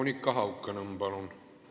Monika Haukanõmm, palun!